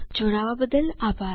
જોડાવા બદ્દલ આભાર